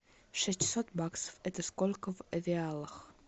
шестьсот баксов это сколько в реалах